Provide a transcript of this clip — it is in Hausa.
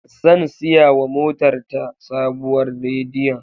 Zan siyawa motar ta sabuwar radiyon.